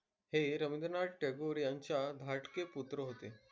हे रविन्द्रनाथ टागोर यांचे धाकटे पुत्र होते.